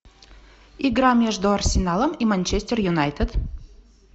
игра между арсеналом и манчестер юнайтед